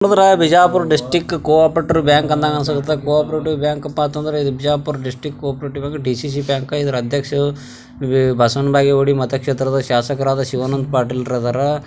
ಇದು Bijapur district cooperative bank ಇರೋದು cooperative bank ಅಂದಪ್ಪ ಅಂದ್ರೆ Bijapur district cooperative DCC bank ಇದರ ಅಧ್ಯಕ್ಷರು ಬಸ್ವನ್ ಬಾಗೇಗುಡಿ ಮತ್ತೆ ಶಾಸಕರಾದ ಶಿವಾನಂದ ಪಾಟೀಲ್ ರಾದರ.